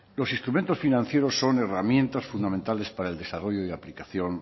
los instrumentos financieros son herramientas fundamentales para el desarrollo y aplicación